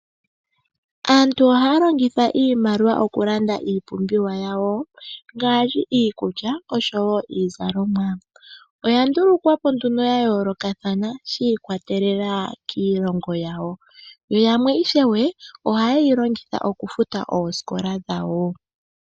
Aantu ohaya longitha iimaliwa okulanda iipumbiwa yawo ngaashi iikulya niizalomwa. Oyandulukwa po yayoolokathana yiikwatelela kiilongo yawo. Yamwe ohaye yi longitha okufuta oosikola dhawo.